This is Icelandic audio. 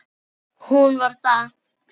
Hún var það.